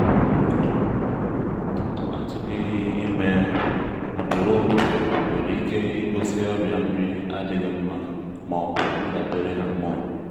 atugehị ime ugboro ugboro nwere ike igosi ọrịa nri adịghị nma ma ọ bụ ndabere hormone.